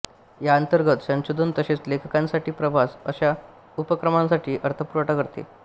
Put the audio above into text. या अंतर्गत संशोधन तसेच लेखकांसाठी प्रवास अशा उपक्रमांसाठी अर्थपुरवठा करते